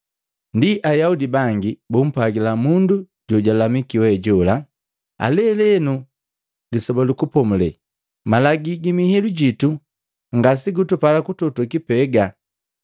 Ndi Ayaudi bangi bumpwagila mundu jojulamiki we jola, “Lelenu Lisoba lu Kupomulela Malagi gi mihilu jitu ngasegutupala kutoto kipega.”